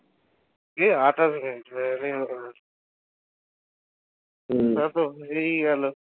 কি আঠাশ মিনিট হম প্রায় তো হয়েই গেলো